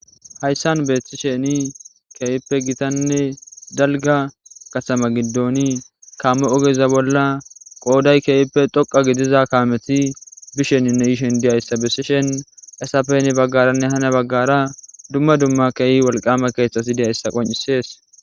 Hayssan beeththi sheni keeyippe gitanne dalga kasama giddoni kamme ogeza bolla qooday keeyippe thoqa gidiza kaameti bisheninne yishen diyayssa bessishen esapeni baggaranne hana baggara dumma dumma keey walqama keethxasi diyayssa qoncisees.